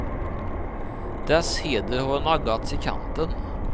Dess heder har naggats i kanten.